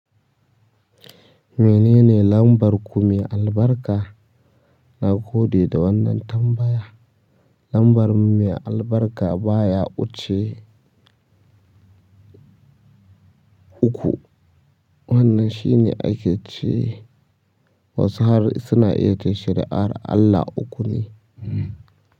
Me nene lambar ku me albarka na gode da wannan tambaya. Lambar mu mai albarka baya wuce uku. Wannan shine ake ce wasu har suna iya ce shari'ar Allah uku ne.